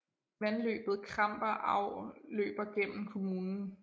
Vandløbet Kremper Au løber gennem kommunen